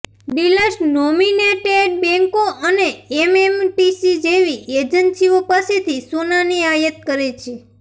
dealers nominated બેન્કો અને MMTC જેવી એજન્સીઓ પાસેથી સોનાની આયાત કરે છે